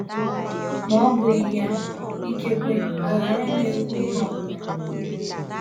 Ma ọ bụghị ya, ikekwe agaraghị m ekwu ihe ọ bụla.